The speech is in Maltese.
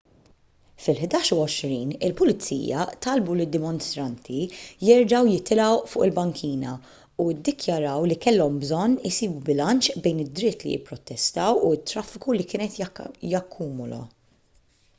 fil-11:20 il-pulizija talbu lid-dimostranti jerġgħu jitilgħu fuq il-bankina u ddikjaraw li kellhom bżonn isibu bilanċ bejn id-dritt li jipprotestaw u t-traffiku li kien qed jakkumula